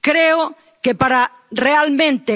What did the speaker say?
Creo que para garantizar